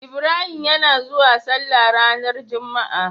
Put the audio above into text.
Ibrahim yana zauwa sallah ranar juma a